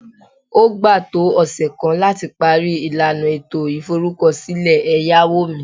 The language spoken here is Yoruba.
O gba to ose kan lati pari ilana eto iforukosile eyawo mi